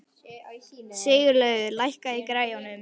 Sigurlaugur, lækkaðu í græjunum.